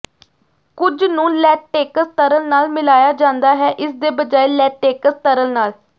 ਕੁਝ ਨੂੰ ਲੈਟੇਕਸ ਤਰਲ ਨਾਲ ਮਿਲਾਇਆ ਜਾਂਦਾ ਹੈ ਇਸਦੇ ਬਜਾਏ ਲੈਟੇਕਸ ਤਰਲ ਨਾਲ